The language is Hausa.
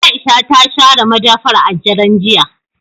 Aisha ta share madafar a daren jiya.